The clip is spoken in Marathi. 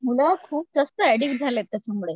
मुलं खूप जास्त एडिक्ट झाल्यात त्याच्यामुळे.